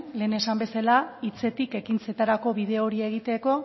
lehen esan bezala hitzetik ekintzetarako bide hori egiteko